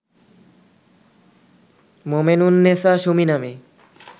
মোমেনুন্নেছা সুমি নামে